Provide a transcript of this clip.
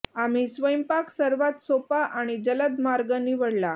आम्ही स्वयंपाक सर्वात सोपा आणि जलद मार्ग निवडला